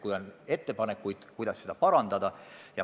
Kui on ettepanekuid, kuidas seda parandada, on tore.